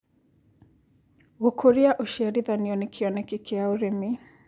Gũkũrĩa ũcĩarĩthanĩa nĩ kĩonekĩ kĩa arĩmĩ